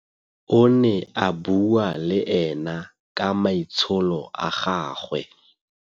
O ne a bua le ena ka maitsholo a gagwe.